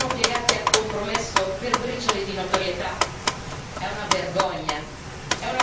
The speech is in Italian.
O di tutti i passati governi italiani, che si sono piegati al compromesso per briciole di notorietà?